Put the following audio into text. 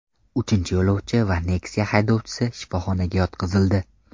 Uchinchi yo‘lovchi va Nexia haydovchisi shifoxonaga yotqizildi.